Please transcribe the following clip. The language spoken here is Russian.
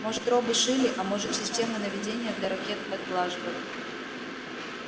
может робы шили а может системы наведения для ракет отлаживали